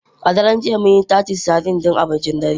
A daren jiya, mun yi Titus sardines don abincin dare.